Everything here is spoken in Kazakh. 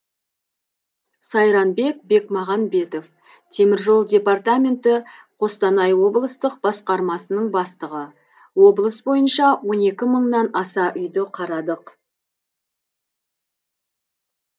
сайранбек бекмағанбетов тжд қостанай облыстық басқармасының бастығы облыс бойынша он екі мыңнан аса үйді қарадық